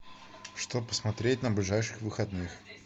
что посмотреть на ближайших выходных